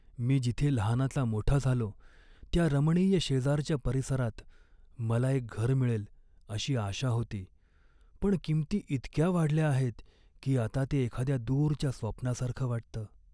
मी जिथे लहानाचा मोठा झालो त्या रमणीय शेजारच्या परिसरात मला एक घर मिळेल अशी आशा होती, पण किंमती इतक्या वाढल्या आहेत की आता ते एखाद्या दूरच्या स्वप्नासारखं वाटतं.